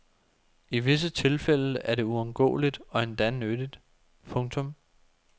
I visse tilfælde er det uundgåeligt og endda nyttigt. punktum